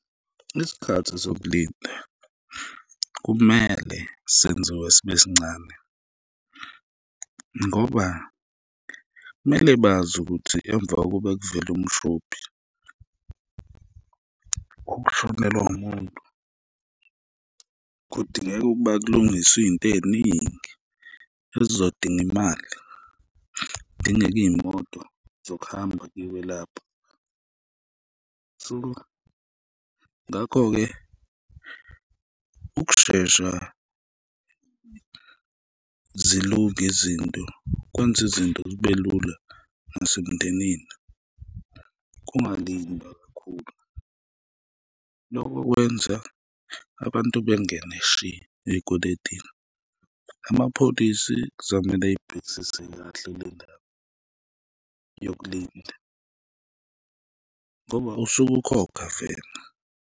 Isikhathi sokulinda kumele senziwe sibe sincane ngoba mele bazi ukuthi emva kokuba kuvele umshophi, ukushonelwa umuntu, kudingeka ukuba kulungiswe iy'nto ey'ningi ezizodinga imali, kudingeka iy'moto zokuhamba kiyiwe lapho. So, ngakho-ke, ukushesha zilunge izinto kwenza izinto zibe lula nasemndenini, kungalindwa kakhulu, loko kwenza abantu bengene shi ey'kweledini, amapholisi kuzomele eyibhekisise kahle le ndaba yokulinda ngoba usuke ukhokha vele.